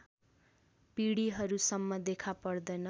पिँढीहरूसम्म देखा पर्दैन